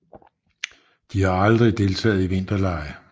De har aldrig deltaget i vinterlege